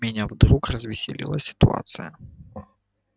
меня вдруг развеселила ситуация